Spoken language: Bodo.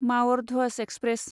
माउर ध्वज एक्सप्रेस